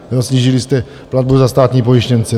Snížili jste platbu za státní pojištěnce.